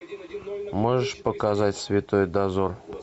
можешь показать святой дозор